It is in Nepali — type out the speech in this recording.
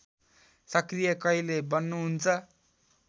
सक्रिय कहिले बन्नुहुन्छ